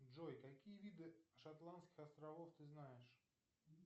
джой какие виды шотландских островов ты знаешь